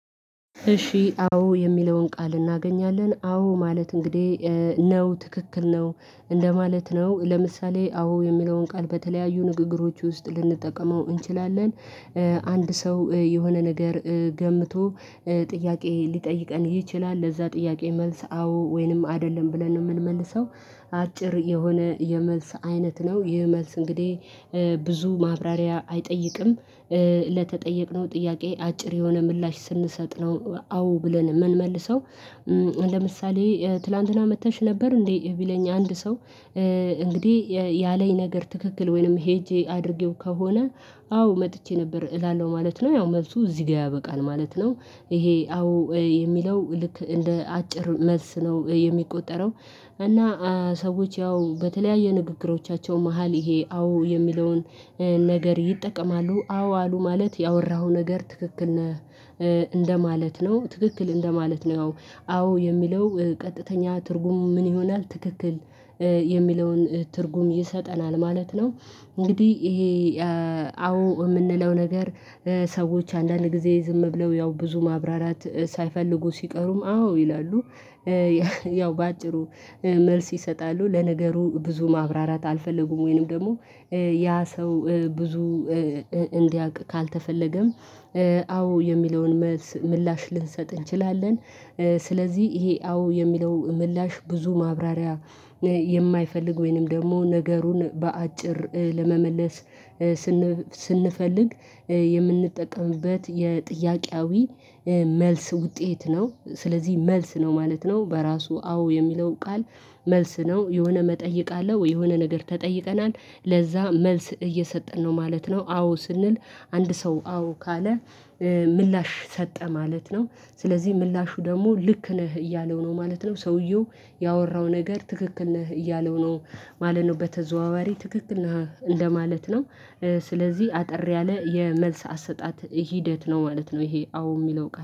እሺ አዎ የሚለውን ቃል እናገኛለን። አዎ ማለት እንግዲህ ነው ትክክል ነው እንደማለት ነው። ለምሳሌ አዎ የሚለውን ቃል በተለያዩ ንግግሮች ውስጥ ልንጠቀመው እንችላለን። አንድ ሰው የሆነ ነገር ገምቶ ጥያቄ ሊጠይቀን ይችላል። ለዛ ጥያቄ መልስ አዎ ወይንም አይደለም ብለን ነው የምንመልሰው። አጭር የሆነ የመልስ አይነት ነው። ይህ መልስ እንግዲህ ብዙ ማብራሪያ አይጠይቅም። ለተጠየቅነው ጥያቄ አጭር የሆነ ምላሽ ስንሰጥ ነው አዎ ብለን ምንመልሰው። ለምሳሌ ትላንትና መጥተሽ ነበር እንዴ? ቢለኝ አንድ ሰው እንግዲህ ያለኝ ነገር ትክክል ወይንም ሄጄ አድርጌው ከሆነ አዎ መጥቼ ነበር እላለሁ ማለት ነው። ያው መልሱ እዚህ ጋር ያበቃል ማለት ነው። ይሄ አዎ የሚለው ልክ እንደ አጭር መልስ ነው የሚቆጠረው። እና ሰዎች ያው በተለያየ ንግግሮቻቸው መሃል ይሄ አዎ የሚለውን ነገር ይጠቀማሉ። አዎ አሉ ማለት ያወራኸው ነገር ትክክል ነህ እንደማለት ነው። ትክክል እንደማለት ነው። አዎ የሚለው ቀጥተኛ ትርጉም ምን ይሆናል? ትክክል የሚለውን ትርጉም ይሰጠናል ማለት ነው። እንግዲህ ይሄ አዎ ምንለው ነገር ሰዎች አንዳንድ ጊዜ ዝም ብለው ያው ብዙ ማብራራት ሳይፈልጉ ሲቀሩም አዎ ይላሉ። ያው በአጭሩ መልስ ይሰጣሉ ለነገሩ ብዙ ማብራራት አልፈለጉም ወይንም ደግሞ ያ ሰው ብዙ እንዲያውቅ ካልተፈለገም አዎ የሚለውን መልስ ምላሽ ልንሰጥ እንችላለን። ስለዚህ ይሄ አዎ የሚለው ምላሽ ብዙ ማብራሪያ የማይፈልግ ወይንም ደግሞ ነገሩን በአጭር ለመመለስ ስንፈልግ የምንጠቀምበት የጥያቄያዊ መልስ ውጤት ነው። ስለዚህ መልስ ነው ማለት ነው በራሱ አዎ የሚለው ቃል መልስ ነው የሆነ መጠየቅ አለው የሆነ ነገር ተጠይቀናል ለዛ መልስ እየሰጠን ነው ማለት ነው አዎ ስንል አንድ ሰው አዎ ካለ ምላሽ ሰጠ ማለት ነው ስለዚህ ምላሹ ደግሞ ልክ ነህ እያለው ነው ማለት ነው ሰውየው ያወራው ነገር ትክክል ነህ እያለው ነው ማለት ነው በተዘዋዋሪ ትክክል ነው እንደማለት ነው ስለዚህ አጠር ያለ የመልስ አሰጣጥ ሂደት ነው ማለት ነው ይሄ አዎ የሚለው ቃል